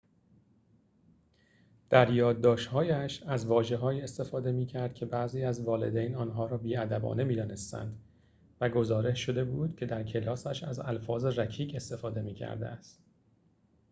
در یادداشت‌هایش از واژه‌هایی استفاده می‌کرد که بعضی از والدین آنها را بی‌ادبانه می‌دانستند و گزارش شده بود که در کلاسش از الفاظ رکیک استفاده می‌کرده است